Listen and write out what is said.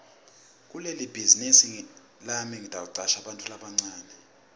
kulebhazinisi yami ngitawucasha bantfu labancane